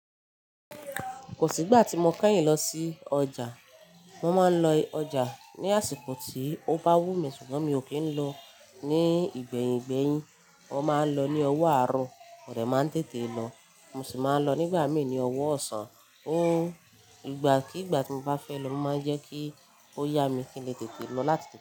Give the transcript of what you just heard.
Kosi gba ti mo kẹyin lọsi ọja. Mo máa ń lọ ọjà ní àsìkò tí ó bá wù mí, ṣùgbọ́n mi ò kí ń lọ ní ìgbẹ́yìgbẹ́yìn. Wọn máa ń lọ ní ọwọ àárọ̀, mo dẹ máa ń tètè lọ, mo sì máa ń lọ nígbà mí ní ọwọ ọ̀sán. Ó ìgbà kigba tí mo bá fẹ́ lọ, mo máa ń jẹ́ kí ó yá mi kí n lè tètè lọ láti tètè.